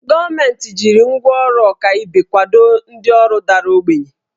Gọọmenti jiri ngwá ọrụ ọkaibe kwado ndị ọrụ dara ogbenye